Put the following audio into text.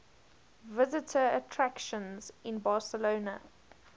visitor attractions in barcelona